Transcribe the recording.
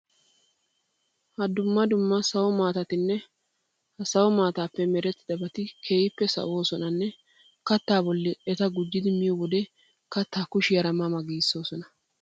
Ha dumma dumma sawo maatatinne ha sawo maataappe merettidabati keehippe sawoosonanne kattaa bolli eta gujjidi miyo wode kattaa kushiyara ma ma gees.